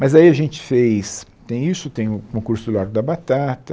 Mas aí a gente fez, tem isso, tem o o curso do Largo da Batata,